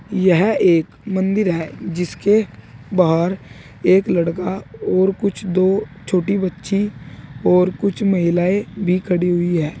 यह एक मंदिर है जिसके बाहर एक लड़का और कुछ दो छोटी बच्ची और कुछ महिलाएं भी खड़ी हुई हैं।